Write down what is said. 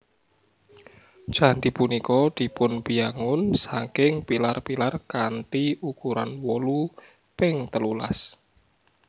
Candhi punika dipunbiyangun saking pilar pilar kanthi ukuran wolu ping telulas